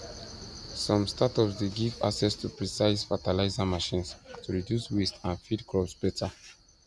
some startups dey give access to precise fertilizer machines to reduce waste and feed crops better